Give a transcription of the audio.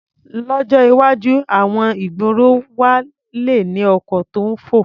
Lọ́jọ́ iwájú, àwọn ìgboro wa le ní ọkọ̀ tó ń fò.